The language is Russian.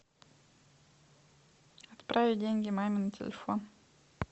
отправить деньги маме на телефон